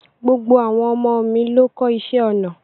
Gbogbo àwọn ọmọ mi ló kọ́ iṣé ọnà.